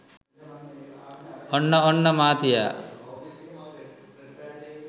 ඔන්න ඔන්න මාතියා